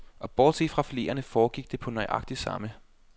Og bortset fra fileterne foregik det på nøjagtig samme